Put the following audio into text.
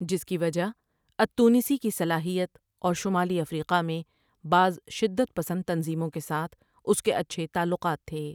جس کی وجہ التونسی کی صلاحیت اور شمالی افریقا میں بعض شدت پسند تنظیموں کے ساتھ اٴْس کے اچھے تعلقات تھے۔